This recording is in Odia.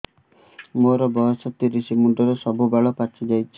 ମୋର ବୟସ ତିରିଶ ମୁଣ୍ଡରେ ସବୁ ବାଳ ପାଚିଯାଇଛି